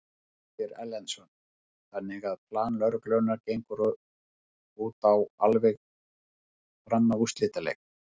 Ásgeir Erlendsson: Þannig að plan lögreglunnar gengur út á alveg fram að úrslitaleik?